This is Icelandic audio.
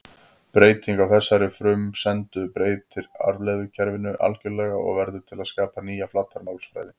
Breyting á þessari frumsendu breytir afleiðslukerfinu algjörlega og verður til að skapa nýja flatarmálsfræði.